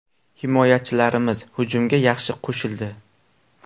Himoyachilarimiz hujumga yaxshi qo‘shildi.